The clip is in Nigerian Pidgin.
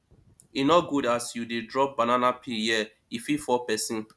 e no good as you dey drop banana peel here e fit fall pesin